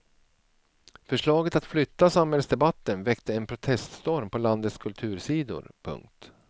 Förslaget att flytta samhällsdebatten väckte en proteststorm på landets kultursidor. punkt